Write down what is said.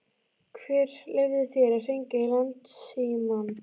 Hver leyfði þér að hringja í Landsímann?